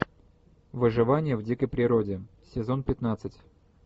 выживание в дикой природе сезон пятнадцать